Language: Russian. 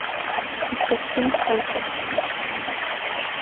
искать фильм хэнкок